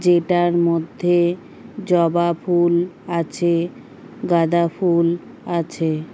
যেটার মধ্যে জবা ফুল আছে গাঁদা ফুল আছে।